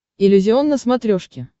иллюзион на смотрешке